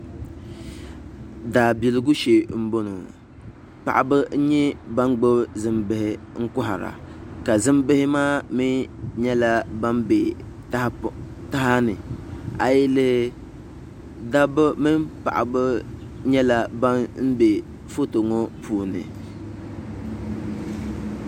Daabiligu shee n bɔŋɔ paɣaba n nyɛ ban gbubi zimbihi n kohara ka zimbihi maa mii nyɛla ban bɛ taha ni a yi lihi dabba mini paɣaba nyɛla ban bɛ foto ŋɔ puuni